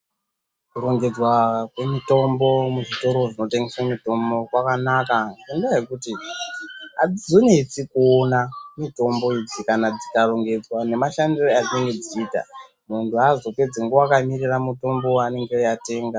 Kurongedzwa kwemitombo muzvitoro zvinotengese mitombo kwakanaka ngendaa yekuti azvizonesi kuona mitombo idzi kana dzikarongedzwa nemashandire adzinenge dzichiita munhu aazopedzi nguwa akaningira mutombo waanenge atenga.